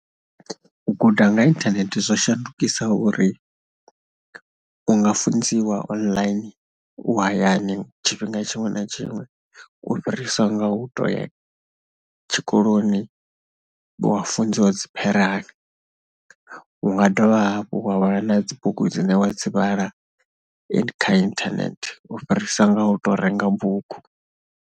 U guda nga inthanethe zwo shandukisa uri u nga funziwa online, u hayani tshifhinga tshiṅwe na tshiṅwe u fhirisa nga u tou ya tshikoloni wa funziwa dzi . U nga dovha hafhu wa vhala na dzi bugu dzine wa dzi vhala and kha inthanethe u fhirisa nga u tou renga bugu.